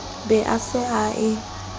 be a se a e